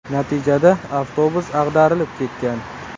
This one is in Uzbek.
Natijada avtobus ag‘darilib ketgan.